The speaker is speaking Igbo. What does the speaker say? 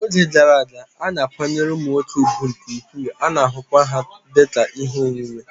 N'oge gara aga, a na-akwanyere ụmụ nwoke ùgwù nke ukwuu, a na-ahụkwa ha dị ka ihe onwunwe